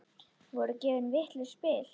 Voru gefin vitlaus spil?